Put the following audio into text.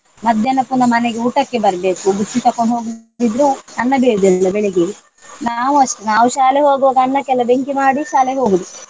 ಮಧ್ಯಾಹ್ನ ಪುನಃ ಮನೆಗೆ ಊಟಕ್ಕೆ ಬರ್ಬೇಕು. ಬುತ್ತಿ ತಕೊಂಡು ಹೋಗುದಿದ್ರೆ ಅನ್ನ ಬೇಯುವುದಿಲ್ಲ ಬೆಳಿಗ್ಗೆ ನಾವೂ ಅಷ್ಟೇ ನಾವು ಶಾಲೆ ಹೋಗುವಾಗ ಅನ್ನಕ್ಕೆಲ್ಲ ಬೆಂಕಿ ಮಾಡಿ ಶಾಲೆಗೆ ಹೋಗುದು.